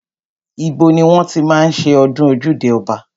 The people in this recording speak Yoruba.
Ibo ni wọ́n ti máa ń ṣe ọdún ojúde ọba?